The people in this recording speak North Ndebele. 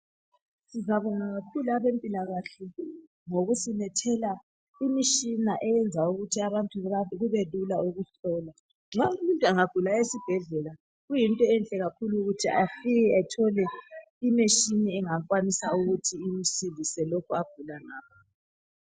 Siyabonga kakhulu abempilakahle ngokusilethela imitshina eyenza ukuthi abantu kubelula ukuhlolwa. Nxa umuntu engagula esibhdlela kuyinto enhle kakhulu ukuthi afike ethole imitshina engakwanisa ukuthi imsize lokho agula ngakho.